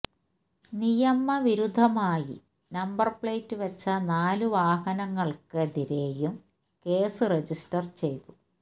നിയമവിരുദ്ധമായി number plate വെച്ച നാല് വാഹനങ്ങള്ക്കെതിരെയും കേസ് രജിസ്റ്റര് ചെയ്തു